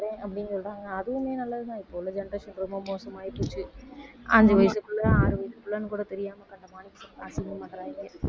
அப்படின்னு சொல்றாங்க அதுவுமே நல்லதுதான் இப்ப உள்ள generation ரொம்ப மோசமாயிப்போச்சு அஞ்சு வயசு புள்ள ஆறு வயசு புள்ளைன்னு கூட தெரியாம அசிங்கம் பண்றாங்க